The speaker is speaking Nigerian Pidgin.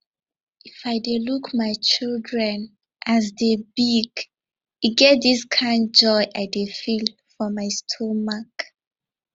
if i dey look my children as dey big e get dis kind joy i dey feel for my stomach